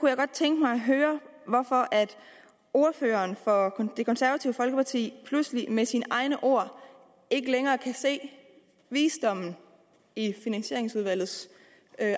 jeg godt tænke mig at høre hvorfor ordføreren for det konservative folkeparti pludselig med sine egne ord ikke længere kan se visdommen i finansieringsudvalgets